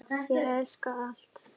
Ég elska allt.